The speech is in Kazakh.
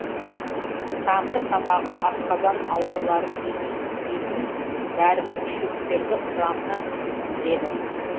тамыр сабағы асқазан ауруларын емедейтін дәрілік шөптердің құрамына кіреді